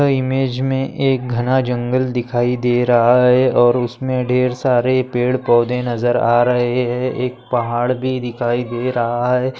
Image मे एक घना जंगल दिखाई दे रहा है और उसमे ढेर सारे पेड़ पौधे नजर आ रहे है एक पहाड़ भी दिखाई दे रहा है।